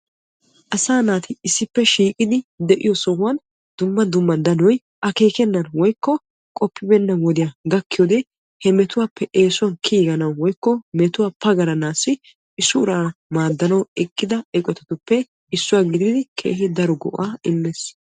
Asaa naati issippe shiiqiddi de'iyo sohuwan danoy akeekkenan woykko qoppenan gakkiyoode he metuwappe kiyanawu maaddiya eqqotattuppe issuwa gididdi maadees.